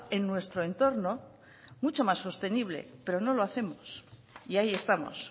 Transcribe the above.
en nuestro entorno mucho más sostenible pero no lo hacemos y ahí estamos